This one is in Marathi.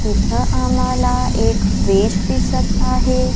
इथं आम्हाला एक ब्रिज दिसतं आहे.